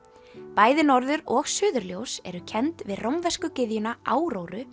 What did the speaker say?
bæði norður og suðurljós eru kennd við rómversku gyðjuna